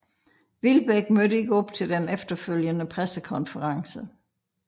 Wilbek mødte ikke op til den efterfølgende pressekonference